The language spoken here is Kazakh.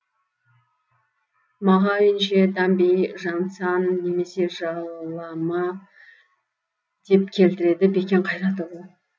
мағауинше дамби жанцан немесе жа лама деп келтіреді бекен қайратұлы